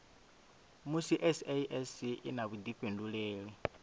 musi sasc i na vhuifhinduleli